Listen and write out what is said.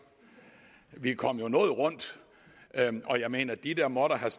vi kom noget rundt og jeg mener at de der måtte have